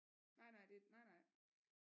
Nej nej det nej nej